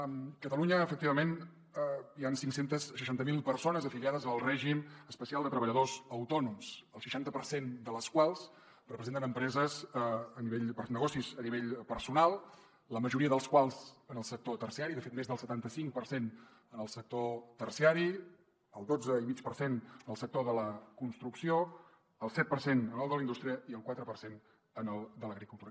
a catalunya efectivament hi han cinc cents i seixanta miler persones afiliades al règim especial de treballadors autònoms el seixanta per cent de les quals representen negocis a nivell personal la majoria dels quals en el sector terciari de fet més del setanta cinc per cent en el sector terciari el dotze i mig per cent en el sector de la construcció el set per cent en el de la indústria i el quatre per cent en el de l’agricultura